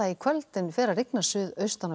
kvöld en fer að rigna suðaustan og